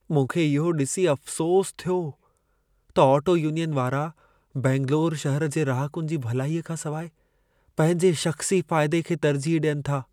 मूंखे इहो ॾिसी अफ़सोसु थियो त ऑटो यूनियन वारा बेंगलुरु शहर जे रहाकुनि जी भलाईअ खां सवाइ पंहिंजे शख़्सी फ़ाइदे खे तर्जीह ॾियनि था।